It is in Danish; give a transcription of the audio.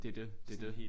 Det det. Det det